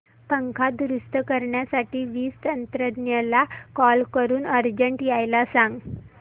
पंखा दुरुस्त करण्यासाठी वीज तंत्रज्ञला कॉल करून अर्जंट यायला सांग